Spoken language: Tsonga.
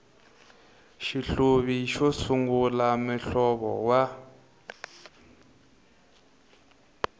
xihluvi xo sungula muhlovo wa